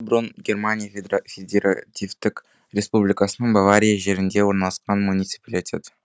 бұрын германия федеративтік республикасының бавария жерінде орналасқан муниципалитет